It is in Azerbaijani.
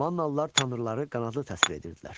Mannalılar tanrıları qanadlı təsvir edirdilər.